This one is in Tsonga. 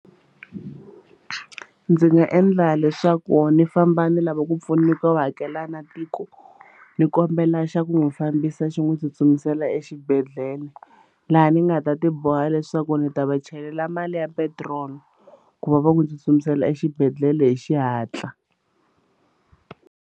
Ndzi nga endla leswaku ni famba ni lava ku pfuniwa u hakela na tiko ni kombela xa ku n'wi fambisa xi n'wi tsutsumisela exibedhlele laha ni nga ta ti boha leswaku ndzi ta va chelela mali ya petiroli ku va va ku tsutsumisela exibedhlele hi xihatla.